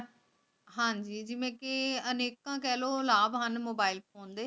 ਹਾਂਜੀ ਜੀ ਜਿਵੇਂ ਕੇ ਕੇਹ੍ਲੋ ਅਨੇਕਤਾ ਲਾਬ ਹਨ mobile phone ਦੇ